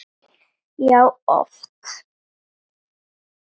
Já, oft.